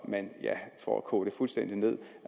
man for at koge det fuldstændig ned